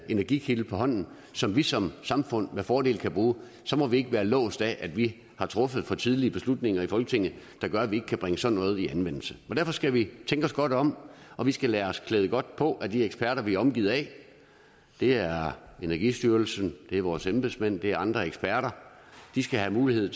energikilde på hånden som vi som samfund med fordel kan bruge så må vi ikke være låst af at vi har truffet for tidlige beslutninger i folketinget der gør at vi ikke kan bringe sådan noget i anvendelse derfor skal vi tænke os godt om og vi skal lade os klæde godt på af de eksperter vi er omgivet af det er energistyrelsen det er vores embedsmænd det er andre eksperter de skal have mulighed